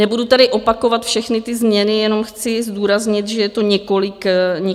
Nebudu tady opakovat všechny ty změny, jenom chci zdůraznit, že je to několik změn.